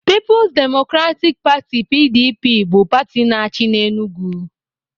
Pipo's Democratic Pati (PDP) bụ pati na-achị n'Enugwu